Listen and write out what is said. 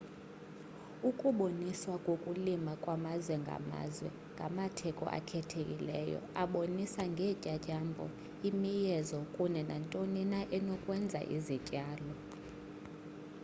ukuboniswa kokulima kwamazwe ngamazwe ngamatheko akhethekileyo abonisa ngeentyatyambo imiyezo kunye nantoni na enokwenza izityalo